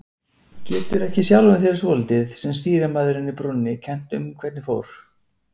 Getur ekki sjálfum þér svolítið, sem stýrimaðurinn í brúnni, kennt þér um hvernig fór?